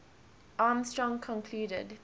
armstrong concluded